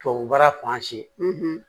Tubabu baara fan si